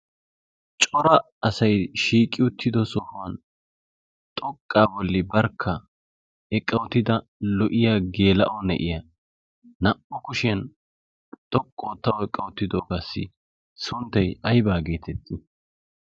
cora asai shiiqi uttido sohuwan xoqqaa bolli barkka eqqaotida lo''iya geela'o ne'iya naa"u kushiyan xoqqu oottau eqqi wottidoogaassi sunttay aybaa geetetti